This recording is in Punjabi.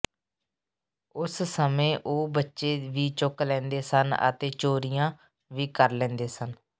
ਉਸ ਸਮੇਂ ਉਹ ਬੱਚੇ ਵੀ ਚੁੱਕ ਲੈਂਦੇ ਸਨ ਅਤੇ ਚੋਰੀਆਂ ਵੀ ਕਰ ਲੈਂਦੇ ਸਨ